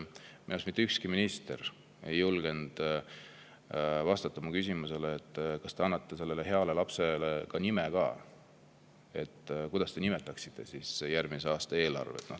Mitte ükski minister ei julgenud vastata mu küsimusele, kas nad annavad sellele heale lapsele nime ka, kuidas nad nimetaksid järgmise aasta eelarvet.